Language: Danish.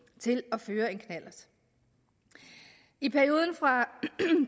til at føre en knallert i perioden fra